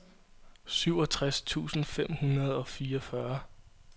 syvogtres tusind fem hundrede og fireogfyrre